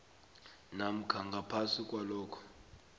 namkha ngaphasi kwalokho